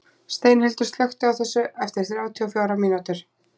Steinhildur, slökktu á þessu eftir þrjátíu og fjórar mínútur.